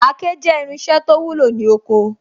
Àáké jẹ́ irinṣẹ́ to wúlò ní oko